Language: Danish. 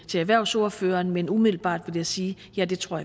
til erhvervsordføreren men umiddelbart vil jeg sige at ja det tror